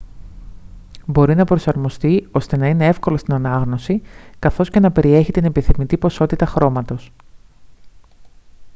μπορεί να προσαρμοστεί ώστε να είναι εύκολο στην ανάγνωση καθώς και να περιέχει την επιθυμητή ποσότητα χρώματος